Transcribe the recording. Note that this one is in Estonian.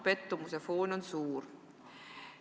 Pettumuse foon on suur.